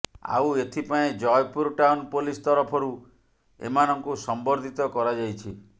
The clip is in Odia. ଆଉ ଏଥିପାଇଁ ଜୟପୁର ଟାଉନ ପୋଲିସ ତରଫରୁ ଏମାନଙ୍କୁ ସମ୍ବର୍ଦ୍ଧିତ କରାଯାଇଛି